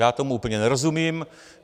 Já tomu úplně nerozumím.